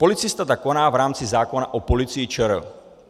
Policista tak koná v rámci zákona o Policii ČR.